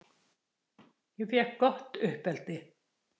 Ég fékk gott uppeldi.